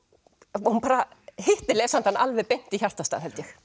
hún bara hittir lesandann alveg beint í hjartastað